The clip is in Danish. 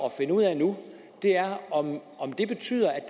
at finde ud af nu er om det betyder at